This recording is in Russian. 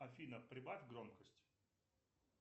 афина прибавь громкость